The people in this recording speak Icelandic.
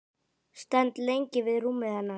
Stend lengi við rúmið hennar.